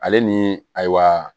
Ale ni ayiwa